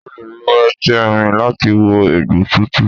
O le lo etí erin láti wo egbò tuntun.